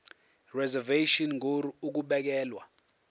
reservation ngur ukubekelwa